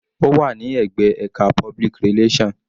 Ó wà ní ẹ̀gbẹ́ ẹka public relation.